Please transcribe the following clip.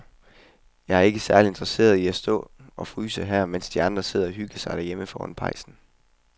Jeg er ikke særlig interesseret i at stå og fryse her, mens de andre sidder og hygger sig derhjemme foran pejsen.